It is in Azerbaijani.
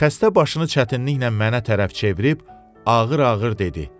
Xəstə başını çətinliklə mənə tərəf çevirib ağır-ağır dedi.